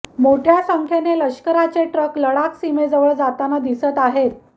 मोठ्या संख्येने लष्कराचे ट्रक लडाख सीमेजवळ जाताना दिसत आहेत